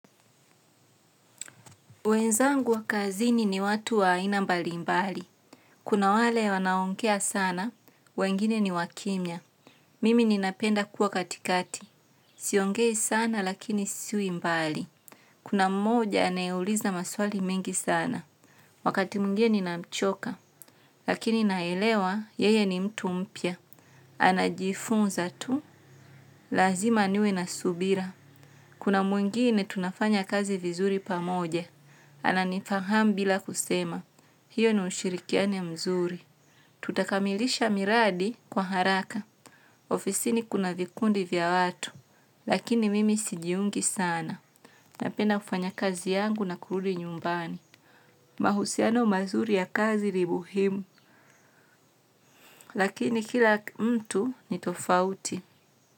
Wenzangu wa kazini ni watu wa aina mbali mbali. Kuna wale wanaongea sana, wengine ni wakimya. Mimi ninapenda kuwa katikati. Siongei sana lakini siwi mbali. Kuna mmoja anayeuliza maswali mengi sana. Wakati mwingine ninamchoka. Lakini naelewa yeye mtu mpya. Anajifunza tu, lazima niwe na subira. Kuna mwingine tunafanya kazi vizuri pamoja, ananifahamu bila kusema, hiyo ni ushirikiano mzuri. Tutakamilisha miradi kwa haraka. Ofisini kuna vikundi vya watu, lakini mimi sijiungi sana, napenda kufanya kazi yangu na kurudi nyumbani. Mahusiano mazuri ya kazi ni muhimu, lakini kila mtu ni tofauti.